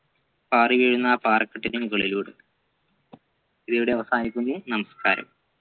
പാറിവീഴുന്ന പാറക്കെട്ടിൻെറ മുകളിലോട് ഇതിവിടെ അവസാനിക്കുന്നു നമസ്കാരം